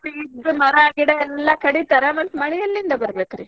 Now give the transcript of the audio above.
ಹಾ ಮತ್ತ್ ಇದ್ದ್ ಮರ, ಗಿಡಾ ಎಲ್ಲಾ ಕಡಿತಾರ ಮತ್ತ್ ಮಳಿ ಎಲ್ಲಿಂದ ಬರ್ಬೇಕ್ರಿ.